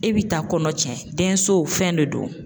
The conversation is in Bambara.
E bi taa kɔnɔ cɛn denso fɛn de don.